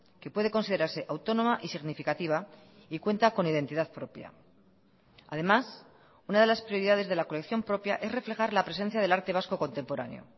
que puede considerarse autónoma y significativa y cuenta con identidad propia además una de las prioridades de la colección propia es reflejar la presencia del arte vasco contemporáneo